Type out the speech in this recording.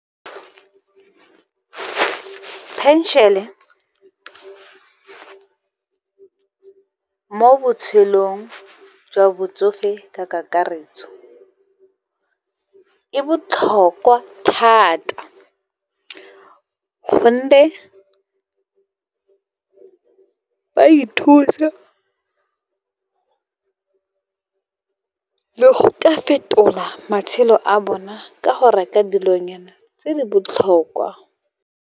Pension-e mo botshelong jwa botsofe ka kakaretso, e botlhokwa thata gonne ba ithusa le go ka fetola, matshelo a bona ka go reka dilonyana tse di botlhokwa.